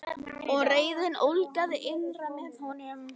Og reiðin ólgaði innra með honum.